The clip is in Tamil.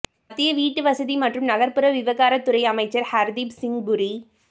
மத்திய வீட்டுவசதி மற்றும் நகா்ப்புற விவகாரத் துறை அமைச்சா் ஹா்தீப் சிங் புரி